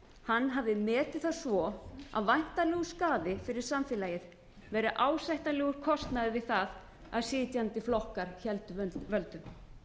hann hafi metið það svo að væntanlegur skaði fyrir samfélagið væri ásættanlegur kostnaður við það að sitjandi flokkar héldu völdum